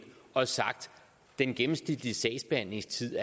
og har sagt at den gennemsnitlige sagsbehandlingstid